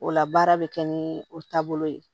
O la baara bɛ kɛ ni o taabolo ye